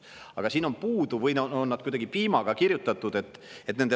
Aga siit nende lausete lõpust on puudu – või on see kuidagi piimaga kirjutatud?